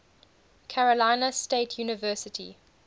carolina state university